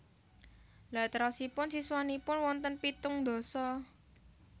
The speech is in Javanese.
Lha terosipun siswanipun wonten pitung ndasa?